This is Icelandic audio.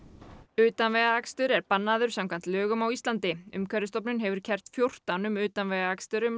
utanvegaakstur er bannaður samkvæmt lögum á Íslandi umhverfisstofnun hefur kært fjórtán tilvik um utanvegaakstur um